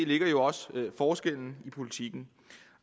ligger jo også forskellen i politikken